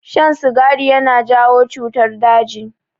Shan sigari yana jawo cutar daji.